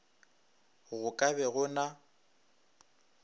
go ka be go na